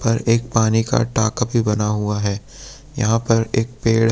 और एक पानी का टाका भी बना हुआ है। यहाँ पर एक पेड़--